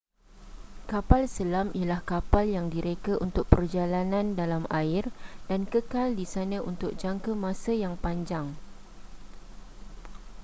kapal selam ialah kapal yang direka untuk perjalanan dalam air dan kekal di sana untuk jangka masa yang panjang